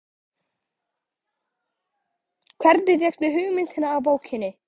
Hvernig fékkstu hugmyndina af bókinni?